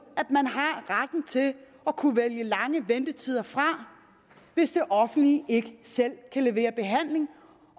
at at kunne vælge lange ventetider fra hvis det offentlige ikke selv kan levere behandling